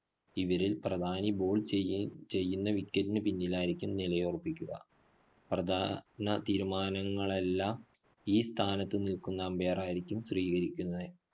ഇവരില്‍ പ്രധാനി ball ചെയ്യ ചെയ്യുന്ന wicket ന് പിന്നിലായിരിക്കും നിലയുറപ്പിക്കുക. പ്രധാ~ന തീരുമാനങ്ങളെല്ലാം ഈ സ്ഥാനത്തു നില്‍ക്കുന്ന umpire ആയിരിക്കും സ്വീകരിക്കുന്നത്.